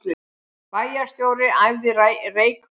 Bæjarstjóri æfði reykköfun